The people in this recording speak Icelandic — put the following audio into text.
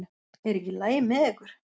Er ekki í lagi með ykkur?